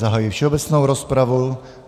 Zahajuji všeobecnou rozpravu.